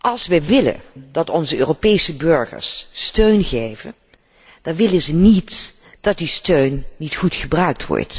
Als we willen dat onze Europese burgers steun geven, dan willen ze niet dat die steun niet goed wordt gebruikt.